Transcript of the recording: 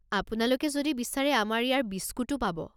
আপোনালোকে যদি বিচাৰে আমাৰ ইয়াৰ বিস্কুটো পাব।